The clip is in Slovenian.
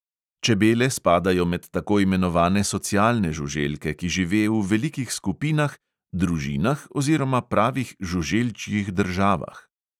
Čebele spadajo med tako imenovane socialne žuželke, ki žive v velikih skupinah, družinah oziroma pravih žuželčjih državah.